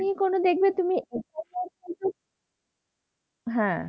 কি করে দেখবে তুমি হ্যাঁ।